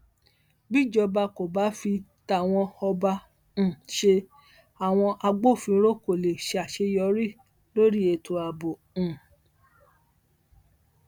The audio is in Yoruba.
bíjọba kò bá fi tàwọn ọba um ṣe àwọn agbófinró kó lè ṣàṣeyọrí lórí ètò ààbò um